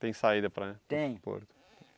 Tem saída para... Tem.